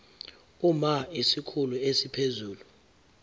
uma isikhulu esiphezulu